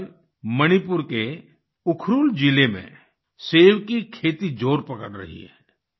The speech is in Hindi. आजकल मणिपुर के उखरुल जिले में सेब की खेती जोर पकड़ रही है